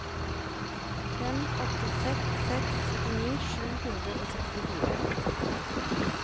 fem åtte seks seks syttini sju hundre og sekstifire